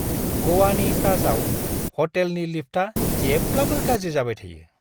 ग'वानि ताजआव ह'टेलनि लिफ्टआ जेब्लाबो गाज्रि जाबाय थायो!